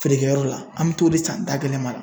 Feere kɛ yɔrɔ la, an be t'o de san da gɛlɛma la.